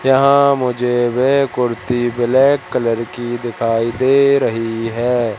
यहां मुझे वे कुर्ती ब्लैक कलर की दिखाई दे रही है।